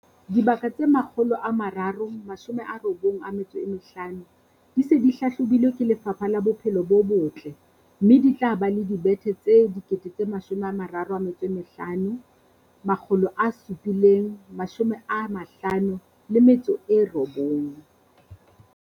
Dibaka tse 395 di se di hlahlobilwe ke Lefapha la Bophelo bo Botle, mme di tla ba le dibethe tse 35 759.